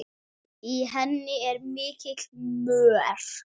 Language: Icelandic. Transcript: Í henni er mikill mör.